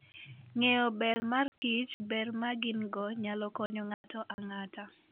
Ng'eyo ber mar Kich ber ma gin - go nyalo konyo ng'ato ang'ata.